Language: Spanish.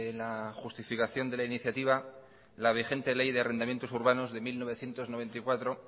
la justificación de la iniciativa la vigente ley de arrendamientos urbanos de mil novecientos noventa y cuatro